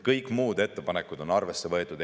Kõik muud ettepanekud on arvesse võetud.